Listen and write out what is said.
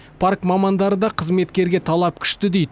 парк мамандары да қызметкерге талап күшті дейді